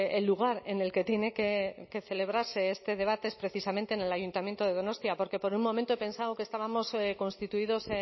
el lugar en el que tiene que celebrarse este debate es precisamente en el ayuntamiento de donostia porque por un momento he pensado que estábamos constituidos